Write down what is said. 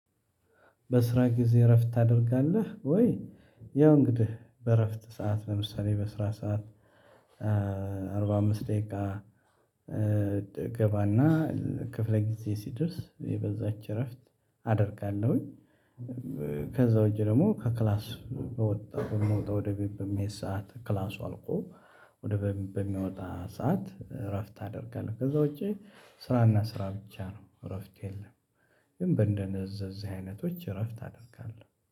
በስራ ጊዜ እረፍት ታደርጋለህ ወይ? ያው እንግዲህ በእረፍት ሰዓት ለምሳሌ በስራ ሰዓት አርባ አምስት ደቂቃ ገባና ክፍለ ጊዜ ሲደርስ የበዛች እረፍት አደርጋለሁኝ ከዛ ውጪ ደግሞ ከክላስ በወጣው በምወጣ ወደ ቤት በምሄድ ሰዓት ክላሱ አልቆ ወደ ቤት በሚወጣ ሰዓት እረፍት አደርጋለሁ። ከዛ ውጪ ስራና ስራ ብቻ ነው፤ እረፍት የለም ግን በእንደነዝ አይነቶች እረፍት አደርጋለሁ